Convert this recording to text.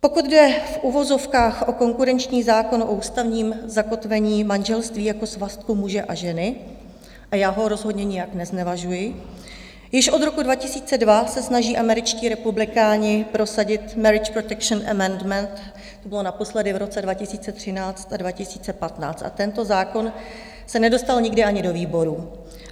Pokud jde v uvozovkách o konkurenční zákon o ústavním zakotvení manželství jako svazku muže a ženy - a já ho rozhodně nijak neznevažuji - již od roku 2002 se snaží američtí republikáni prosadit Marriage Protection Amendment, to bylo naposledy v roce 2013 a 2015, a tento zákon se nedostal nikdy ani do výborů.